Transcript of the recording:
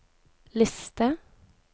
liste